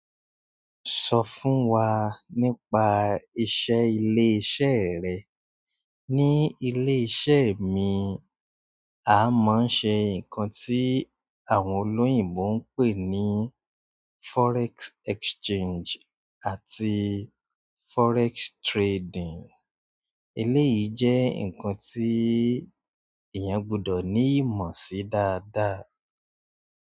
Sọ fún wa nípa iṣẹ́ ilé iṣẹ́ rẹ. Ní ilé iṣẹ́ mi, a máa ń ṣe nǹkan tí àwọn olóyìnbo ń pè ní forex exchange àti forex trading. Ilé yìí jẹ́ nǹkan tí èèyàn gbọdọ̀ ní ìmọ̀ sí dáadáa.